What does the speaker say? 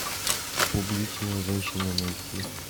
публичная женщина найти